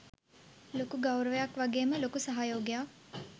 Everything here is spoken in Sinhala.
ලොකු ගෞරවයක් වගේම ලොකු සහයෝගයක්